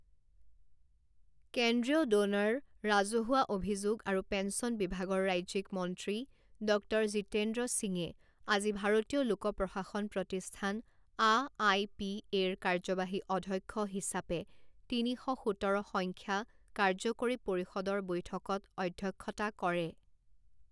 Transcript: কেন্দ্ৰীয় ড নাৰ, ৰাজহুৱা অভিযোগ আৰু পেন্সন বিভাগৰ ৰাজ্যিক মন্ত্ৰী ডক্টৰ জিতেন্দ্ৰ সিঙে আজি ভাৰতীয় লোক প্ৰশাসন প্ৰতিষ্ঠান আআইপিএ ৰ কাৰ্যবাহী অধ্যক্ষ হিচাপে তিনি শ সোতৰ সংখ্য কাৰ্যকৰী পৰিষদৰ বৈঠকত অধ্যক্ষতা কৰে।